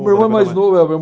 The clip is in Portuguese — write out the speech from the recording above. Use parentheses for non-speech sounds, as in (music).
O meu irmão é mais novo (unintelligible)